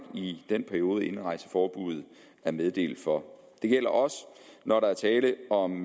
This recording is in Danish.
i den periode indrejseforbuddet er meddelt for det gælder også når der er tale om